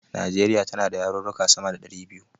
Nijeriya tana da yarurruka sama da ɗari biyu